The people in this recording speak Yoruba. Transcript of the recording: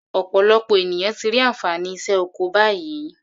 Ọ̀pọ̀lọpọ̀ ènìyàn ti rí ànfàní iṣẹ́ oko báyìí.